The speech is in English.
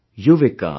yuvika